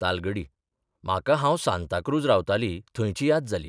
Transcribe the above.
तालगडी म्हाका हांव सांताक्रूझ रावताली थंयची याद जाली.